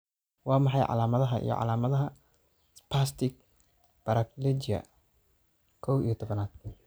Waa maxay calaamadaha iyo calaamadaha spastic paraplegia kow iyo tobanad?